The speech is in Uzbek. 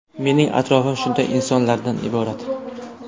Mening atrofim shunday insonlarda iborat.